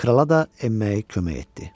Krala da enməyi kömək etdi.